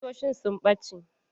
Ƙusoshin sun ɓace.